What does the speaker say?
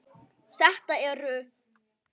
Þetta eru